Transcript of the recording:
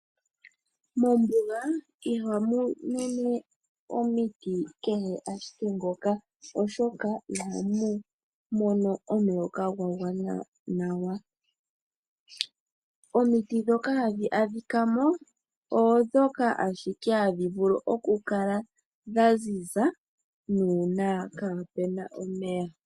Mombuga ihamu mene omiti kehe ashike ngoka oshoka ihamu mono omuloka gwa gwana gwana. Omiti ndhoka hadhi adhikamo odho ndhoka hadhi vulu ashike oku kala dhaziza nuuna kapena omeya.